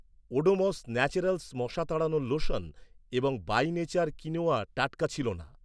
Odomos naturals মশা তাড়ানোর lotion এবং বাই নেচার কিনোয়া টাটকা ছিল না।